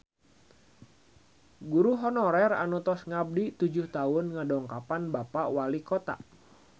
Guru honorer anu tos ngabdi tujuh tahun ngadongkapan Bapak Walikota